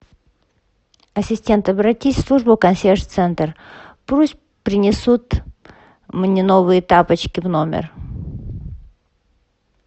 ассистент обратись в службу консьерж центр пусть принесут мне новые тапочки в номер